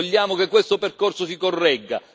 Vogliamo che questo percorso si corregga.